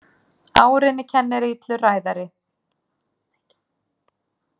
Árinni kennir illur ræðari.